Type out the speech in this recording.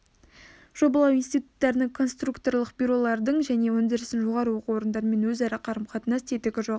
жобалау институттарының конструкторлық бюролардың және өндірістің жоғары оқу орындарымен өзара қарым-қатынас тетігі жоқ